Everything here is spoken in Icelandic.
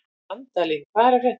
Randalín, hvað er að frétta?